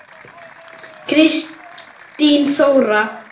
Kristín Þóra.